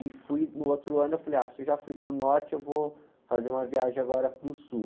E fui, no outro ano eu falei, ah, se eu já fui para o norte, eu vou fazer uma viagem agora para o sul.